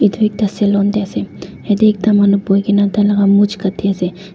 edu ekta salon tae ase yatae ekta manu boikaena tai laka mush katiase.